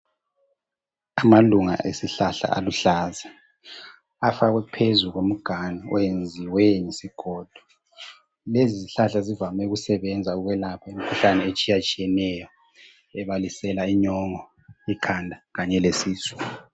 amalunga esihlahla aluhlaza afakwe phezu komganu oyenziwe ngesigodo lezi zihlahla zivame ukusebenza ukwelapha imikhuhlane etshiyatshiyeneyo ebalisela inyongo ikhanda kanye lesisu